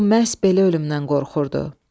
O məhz belə ölümdən qorxurdu.